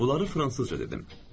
Bunları fransızca dedim.